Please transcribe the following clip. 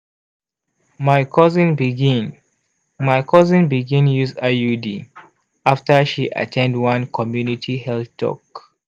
my cousin begin my cousin begin use iud after she at ten d one community health talk.